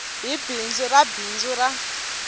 hi bindzu ra bindzu ra